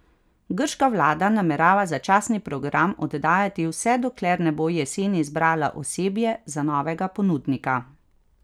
Grška vlada namerava začasni program oddajati vse dokler ne bo jeseni izbrala osebje za novega ponudnika.